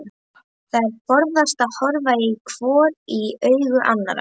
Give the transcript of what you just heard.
Þær forðast að horfa hvor í augu annarrar.